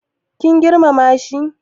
kun girmama shi?